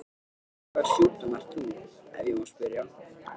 Með hvaða sjúkdóm ert þú, ef ég má spyrja?